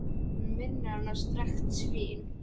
Hann minnir hana á strekkt svín.